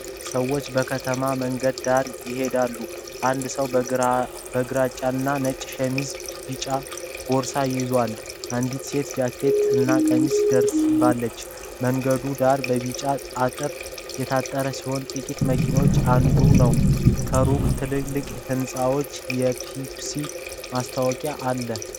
ሰዎች በከተማ መንገድ ዳር ይሄዳሉ። አንድ ሰው በግራጫና ነጭ ሸሚዝ ቢጫ ቦርሳ ይዞአል። አንዲት ሴት ጃኬት እና ቀሚስ ደርባለች። መንገዱ ዳር በቢጫ አጥር የታጠረ ሲሆን ጥቂት መኪኖች እየነዱ ነው። ከሩቅ ትልልቅ ሕንጻዎችና የፔፕሲ ማስታወቂያ አለ።